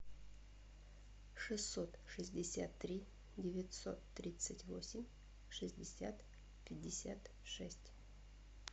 шестьсот шестьдесят три девятьсот тридцать восемь шестьдесят пятьдесят шесть